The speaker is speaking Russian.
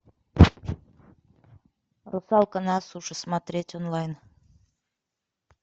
русалка на суше смотреть онлайн